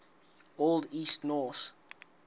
old east norse